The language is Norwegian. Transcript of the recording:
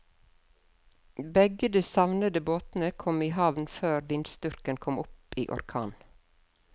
Begge de savnede båtene kom i havn før vindstyrken kom opp i orkan.